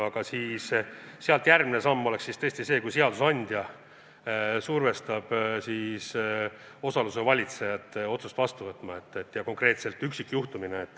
Aga sealt järgmine oleks tõesti see, kui seadusandja survestab osaluse valitsejat otsust vastu võtma, ja seda konkreetselt üksikjuhtumina.